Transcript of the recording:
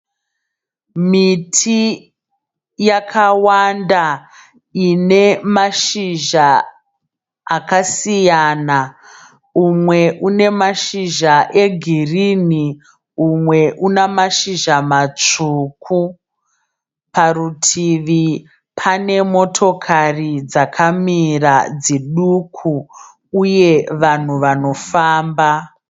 Miti yakawanda inemashizha akasiyana. Umwe une mashizha egirini umwe unemashizha matsvuku. Parutivi pane motokari dzakamira dziduku uye vanhu vanofamba.